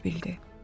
deyə bildi.